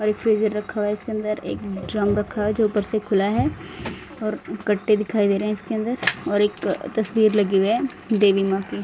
और एक फ्रीजर रखा हुआ है इसके अंदर एक ड्रम रखा हुआ जो ऊपर से खुला है और कट्टे दिखाई दे रहे है इसके अंदर और एक तस्वीर लगी हुई है देवी मां की।